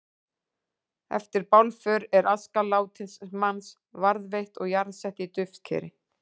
Eftir bálför er aska látins manns varðveitt og jarðsett í duftkeri.